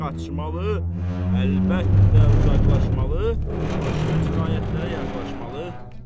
Qaçmalı, əlbəttə uzaqlaşmalı, başqa cinayətlərə yaxınlaşmalı.